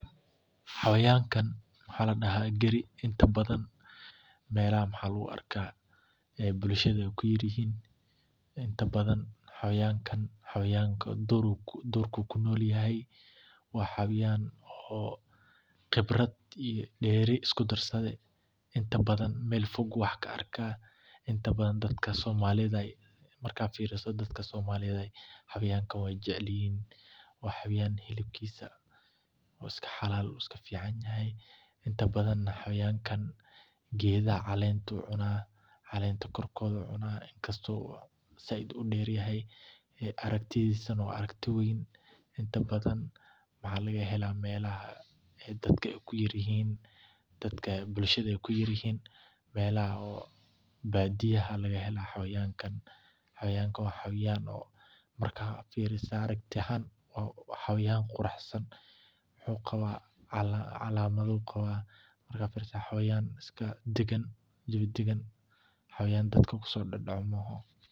Xayawankan waxaa ladaha gari inta badan melaha maxaa lagu arka inta badan xayawankan dur ayu kunolyahay waa xayawan qibraad iyo deeri isku darsaade meel fog ka arkeyso, hilibkisa waa iska xalal inta badana xayawankan geedaha calenta ayu cuna calenta kor kor ayu cuna, inta badan waxaa laga hela meel dadka ee ku yar yihin dadka bulshaada ee ku yar yihin meelaha oo badiyaha, marka aad firiso aya quruxsan wuxuu qalamaada waa xayawan iska dagan xayawan dadka ku sodadaco ma aha.